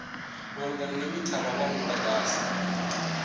malugana na mithara wa mudagasi